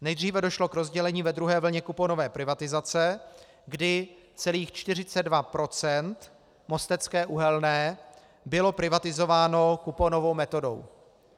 Nejdříve došlo k rozdělení ve druhé vlně kuponové privatizace, kdy celých 42 % Mostecké uhelné bylo privatizováno kuponovou metodou.